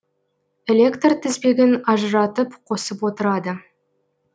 электр тізбегін ажыратып қосып отырады